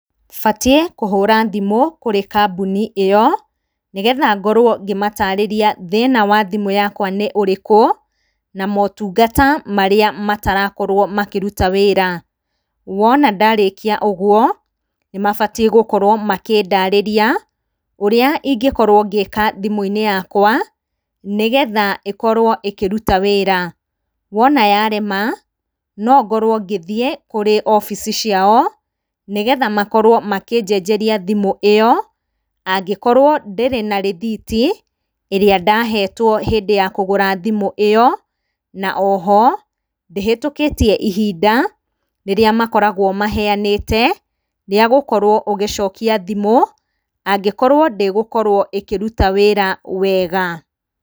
Batiĩ kũhũra thimũ kũri kambuni ĩyo, nĩ getha ngorwo ngĩmatarĩria thĩna wa thimũ yakwa nĩ ũrĩkũ, na motungata marĩa matarakorwo makĩruta wĩra, wona ndarĩkia ũguo, nĩ mabatiĩ gũkorwo makĩndarĩria, ũrĩa ingĩkorwo ngĩka thimũ-inĩ yakwa, nĩgetha ĩkorwo ĩkĩruta wĩra, wona yarema, nongorwo ngĩthiĩ kũrĩ obici ciao, nĩgetha makorwo makĩnjenjeria thimũ ĩyo, nangĩkorwo ndĩrĩ na rĩthiti ĩrĩa ndahetwo hĩndĩ ya kũgũra thĩmũ ĩyo, na oho, ndĩhetũkĩtie ihinda, rĩrĩa makoragwo maheanĩte, rĩa gũkorwo ũgĩcokia thĩmũ, angĩkorwo ndĩgũkorwo ĩkĩruta wĩra wega.